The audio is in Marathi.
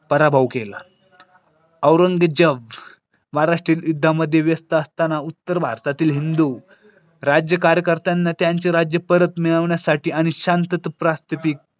पराभव केला. अरुण विद्या महाराष्ट्री त्यामध्ये व्यस्त असताना उत्तर भारतातील हिंदू राज्य कार्य करताना त्यांचे राज्य परत मिळवण्यासाठी आणि शांतता प्रस्थापित.